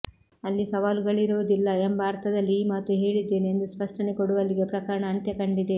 ಅಲ್ಲಿ ಸವಾಲುಗಳಿರುವುದಿಲ್ಲ ಎಂಬ ಅರ್ಥದಲ್ಲಿ ಈ ಮಾತು ಹೇಳಿದ್ದೇನೆ ಎಂದು ಸ್ಪಷ್ಟನೆ ಕೊಡುವಲ್ಲಿಗೆ ಪ್ರಕರಣ ಅಂತ್ಯ ಕಂಡಿದೆ